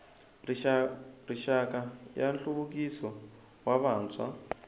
rixaka ya nhluvukiso wa vantshwa